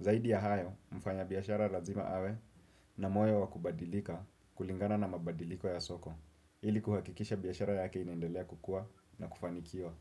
Zaidi ya hayo, mfanyabiashara lazima awe, na moyo wa kubadilika, kulingana na mabadiliko ya soko. Hili kuhakikisha biashara yake inaendelea kukua na kufanikio.